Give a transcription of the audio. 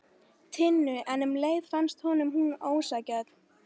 Tinnu en um leið fannst honum hún ósanngjörn.